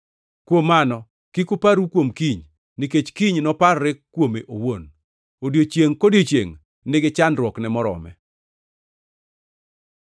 Kuom mano, kik uparru kuom kiny, nikech kiny noparre kuome owuon. Odiechiengʼ kodiechiengʼ nigi chandruokne morome.